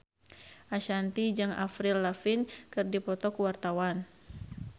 Ashanti jeung Avril Lavigne keur dipoto ku wartawan